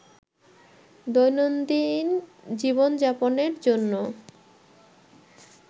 দৈনন্দিন জীবনযাপনের জন্য